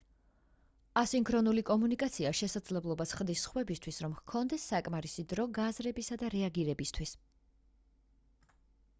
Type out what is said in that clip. ასინქრონული კომუნიკაცია შესაძლებლობას ხდის სხვებისთვის რომ ჰქონდეთ საკმარისი დრო გააზრებისა და რეაგირებისთვის